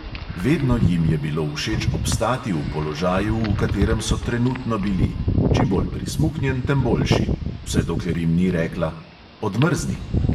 Vedno jim je bilo všeč obstati v položaju, v katerem so trenutno bili – čim bolj prismuknjen, tem boljši –, vse dokler jim ni rekla: "odmrzni!"